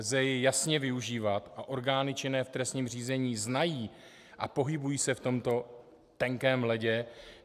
Lze jej jasně využívat a orgány činné v trestním řízení znají a pohybují se na tomto tenkém ledě.